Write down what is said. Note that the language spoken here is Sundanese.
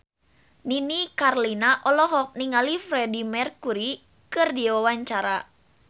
Nini Carlina olohok ningali Freedie Mercury keur diwawancara